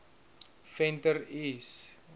venter l s